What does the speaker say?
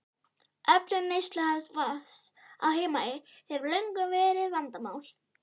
Öflun neysluhæfs vatns á Heimaey hefur löngum verið vandamál.